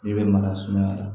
I bɛ mara sumaya